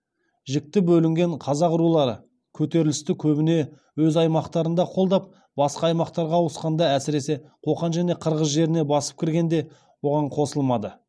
жікті бөлінген қазақ рулары көтерілісті көбіне өз аймақтарында қолдап басқа аймақтарға ауысқанда әсіресе қоқан және қырғыз жеріне басып кіргенде оған қосылмады